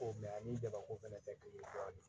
Ko ani jabako fɛnɛ tɛ kelen ye dɔɔni